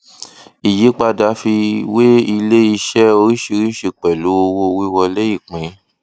ìyípadà fi wé iléiṣẹ oríṣìíríṣìí pẹlú owówíwọlé ìpín